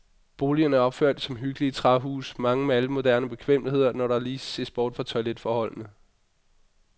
Boligerne er opført som hyggelige træhuse, mange med alle moderne bekvemmeligheder, når der lige ses bort fra toiletforholdene.